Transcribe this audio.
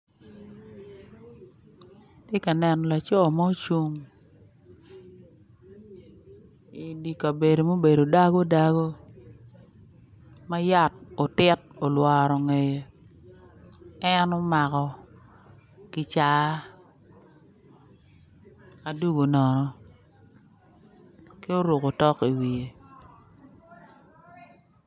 Atye ka neno laco ma ocung i di ka bedo mubedo dago dago ma yat otit olworo ngeye en omako kicaa adungo nono ki oruko otok i wiye